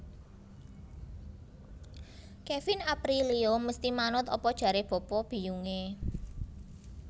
Kevin Aprilio mesti manut apa jare bapa biyung e